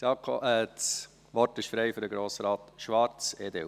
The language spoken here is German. Das Wort ist frei für Grossrat Schwarz, EDU.